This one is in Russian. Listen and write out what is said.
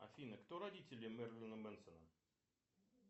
афина кто родители мерлина мэнсона